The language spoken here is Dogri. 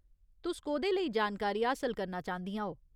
तुस कोह्दे लेई जानकारी हासल करना चांह्दियां ओ ?